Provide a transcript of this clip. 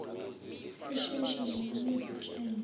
usheshe uyalala uzitshele